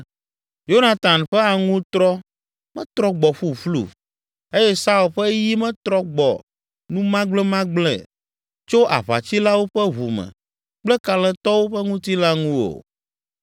“Yonatan ƒe aŋutrɔ metrɔ gbɔ ƒuƒlu eye Saul ƒe yi metrɔ gbɔ numagblemagblẽ tso aʋatsilawo ƒe ʋu me kple kalẽtɔwo ƒe ŋutilã ŋu o,